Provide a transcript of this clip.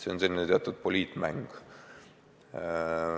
See on selline teatud poliitmäng.